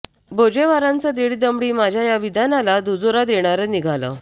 बोजेवारांचं दीड दमडी माझ्या या विधानाला दुजोरा देणारं निघालं